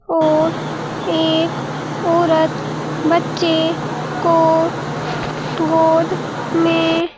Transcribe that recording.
और एक औरत बच्चे को गोद में--